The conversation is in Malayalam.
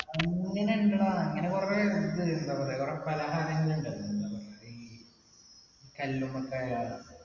അങ്ങനെ ഇണ്ടെടാ അങ്ങനെ കുറെ ഇത് എന്താ പറയാ കുറേ പലഹാരങ്ങൾ ഉണ്ട് എന്താ പറയാ ഈ കല്ലുമ്മക്കായ